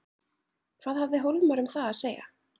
Hvað hafði Hólmar um það að segja?